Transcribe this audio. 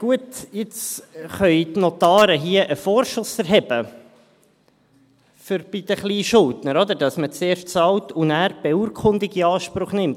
Gut, jetzt können die Notare hier bei den Kleinschuldnern einen Vorschuss erheben, sodass man erst zahlt und nachher die Beurkundung in Anspruch nimmt.